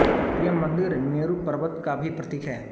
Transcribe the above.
यह मन्दिर मेरु पर्वत का भी प्रतीक है